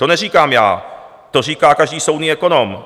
To neříkám já, to říká každý soudný ekonom.